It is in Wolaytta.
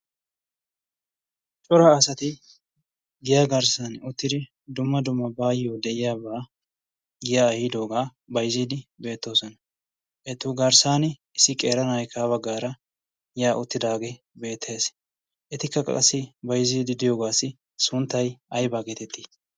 Cora asati giya garssan uttidi dumma duma baayyo de7iyaabaa giya ayiidoogaa baizziidi beettoosona. ettu garssan issi qeeranaaikkaa baggaara ya uttidaagee beettees. etikka qassi baizziidi diyoogaassi sunttai aibaa geetettii?